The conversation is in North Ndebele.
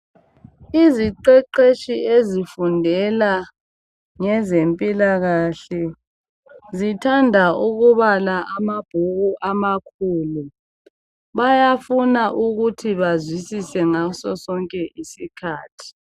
Iziqeqetshi ezifundela ngezempilakahle zithanda ukubala amabhuku amakhulu. Bayafuna ukuthi bazwisise ngasosonke isikhathi.